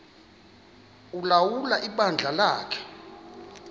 ulawula ibandla lakhe